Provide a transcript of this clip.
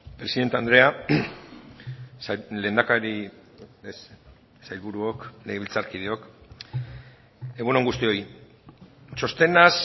presidente andrea lehendakari sailburuok legebiltzarkideok egun on guztioi txostenaz